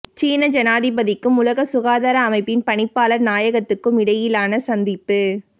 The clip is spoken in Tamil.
சீன ஜனாதிபதிக்கும் உலக சுகாதார அமைப்பின் பணிப்பாளர் நாயகத்துக்கும் இடையிலான சந்திப்பு